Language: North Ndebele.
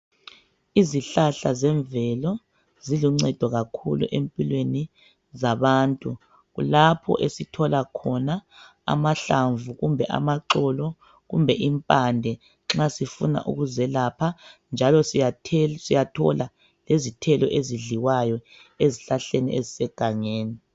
Izihlahla zemvelo ziluncedo kakhulu empilweni zabantu, kulapho esithola khona amahlamvu kumbe amaxolo kumbe impande nxa sifuna ukuzelapha njalo siyathola lezithelo ezidliwayo ezihlahleni ezisegangeni.